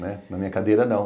Na minha cadeira, não.